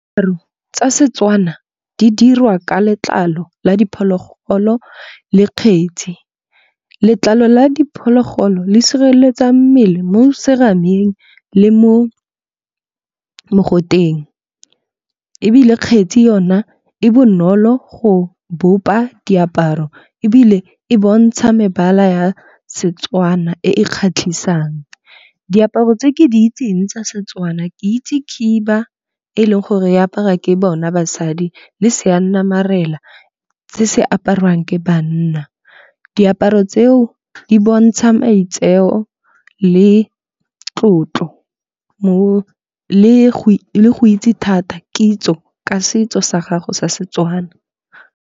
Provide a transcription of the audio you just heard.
Tsa Setswana di dirwa ka letlalo la diphologolo le kgetsi. Letlalo la diphologolo le sireletsa mmele mo serameng le mo mogoteng. Ebile kgetsi yona e bonolo go bopa diaparo ebile e bontsha mebala ya setswana e e kgatlhisang. Diaparo tse ke di itseng tsa Setwana ke itse khiba e leng gore e aparwa ke bona basadi le seyanamarela se se apariwang ke banna. Diaparo tseo di bontsha maitseo le tlotlo le go itse thata kitso ka setso sa gago sa seTswana.